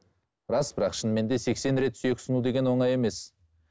рас бірақ шынымен де сексен рет сүйек сыну деген оңай емес